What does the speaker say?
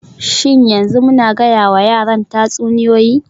Shin yanzu muna gayawa yaran tatsuniyoyi??